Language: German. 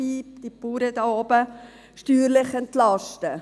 Da wären Sie als Bauern auch dabei.